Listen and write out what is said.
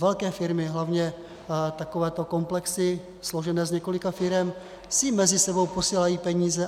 Velké firmy, hlavně takovéto komplexy složené z několika firem, si mezi sebou posílají peníze.